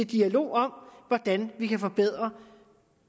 dialog om hvordan vi kan forbedre